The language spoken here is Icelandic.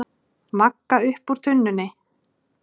Magga upp úr tunnunni.